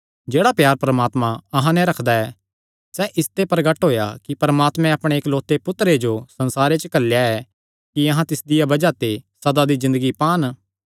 जेह्ड़ा प्यार परमात्मा अहां नैं रखदा ऐ सैह़ इसते प्रगट होएया कि परमात्मैं अपणे इकलौते पुत्तरे जो संसारे च घल्लेया ऐ कि अहां तिसदिया बज़ाह ते सदा दी ज़िन्दगी पान